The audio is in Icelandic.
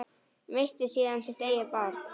Missti síðan sitt eigið barn.